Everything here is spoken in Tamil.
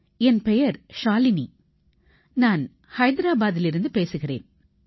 என் பெயர் ஷாலினி நான் ஐதராபாதிலிருந்து பேசுகிறேன்